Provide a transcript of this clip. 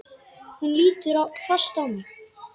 Hún lítur fast á mig.